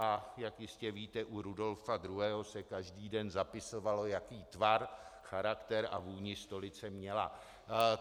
A jak jistě víte, u Rudolfa II. se každý den zapisovalo, jaký tvar, charakter a vůni stolice měla.